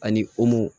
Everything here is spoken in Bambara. Ani